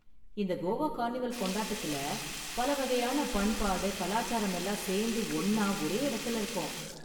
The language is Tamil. இந்த கோவா கார்னிவல் கொண்டாட்டத்துல பல வகையான பண்பாடு, கலாச்சாரம் எல்லாம் சேர்ந்து ஒண்ணா ஒரே இடத்துல இருக்கும்.